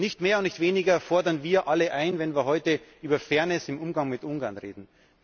Nicht mehr und nicht weniger fordern wir alle ein, wenn wir heute über Fairness im Umgang mit Ungarn reden.